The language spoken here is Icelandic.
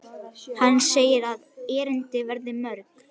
Hann segir að erindin verði mörg.